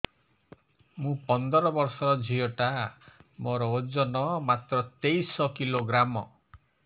ମୁ ପନ୍ଦର ବର୍ଷ ର ଝିଅ ଟା ମୋର ଓଜନ ମାତ୍ର ତେତିଶ କିଲୋଗ୍ରାମ